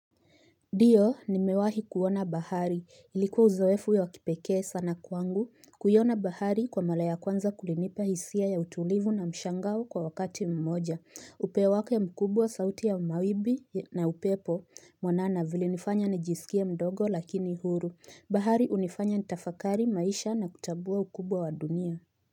Ndiyo nimewahi kuona bahari ilikuwa uzoefu wa wakipekee sana kwangu kuiona bahari kwa mara ya kwanza kulinipa hisia ya utulivu na mshangao kwa wakati mmoja, upeo wake mkubwa sauti ya mawimbi na upepo mwanana vilinifanya nijisikie mdogo lakini huru bahari hunifanya nitafakari maisha na kutambua ukubwa wa dunia.